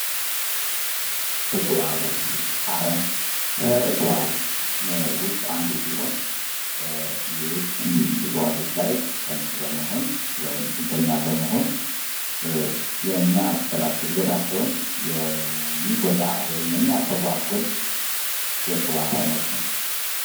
እፅዋት አረም ከእፅዋት ውስጥ አንዱ ሲሆን ሌሎች እፅዋቶች ላይ ጠቅ በመሆን ወይም ጥገኛ በመሆን የሚያበላሽ እድገታቸውን የሚጎዳ ወይም የሚያስተጓጉል የእፅዋት አይነት ነው።